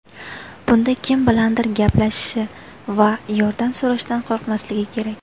Bunda kim bilandir gaplashishi va yordam so‘rashdan qo‘rqmasligi kerak.